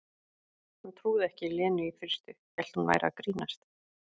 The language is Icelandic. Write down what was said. Hún trúði ekki Lenu í fyrstu, hélt hún væri að grínast.